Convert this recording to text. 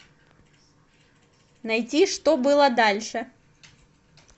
найти что было дальше